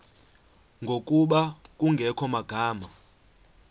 ngokuba kungekho magama